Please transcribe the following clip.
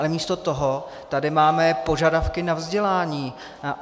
Ale místo toho tady máme požadavky na vzdělání.